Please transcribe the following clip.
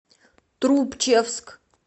трубчевск